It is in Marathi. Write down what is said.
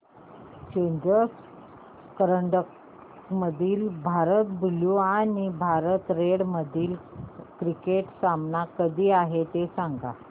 चॅलेंजर करंडक मधील भारत ब्ल्यु आणि भारत रेड मधील क्रिकेट सामना कधी आहे ते सांगा